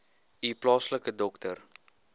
u plaaslike dokter